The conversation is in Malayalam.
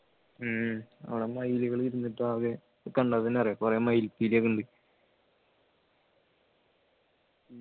ഉം അവിടെ മയിലുകൾ ഇരുന്നിട്ട് ആകെ കണ്ട തന്നെ അറിയാം കുറെ മയില്പീലിയൊക്കെ ഉണ്ട്